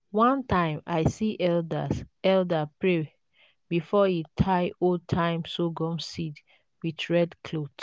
one time i see elders elder pray before e tie old-time sorghum seeds with red cloth.